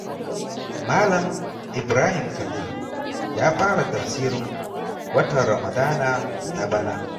Malam Ibrahim Khalil ya fara tafsirin watan Ramadana na bana.